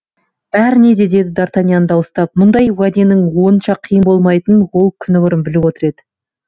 бәріне де деді д артаньян дауыстап мұндай уәденің онша қиын болмайтынын ол күні бұрын біліп отыр еді